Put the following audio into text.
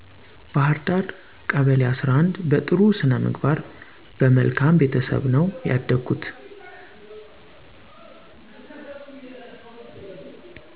ባህርዳ ቀበሌ11 በጥሩ ስነምግባር በመልካም ቤተሰብ ነው ያደኩት